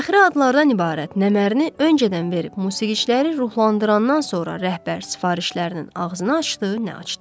Fəxri adlardan ibarət nəmərini öncədən verib musiqiçiləri ruhlandırandan sonra rəhbər sifarişlərinin ağzını açdı, nə açdı.